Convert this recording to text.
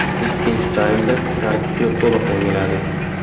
Ikkinchi taymda tarkibni to‘liq yangiladik.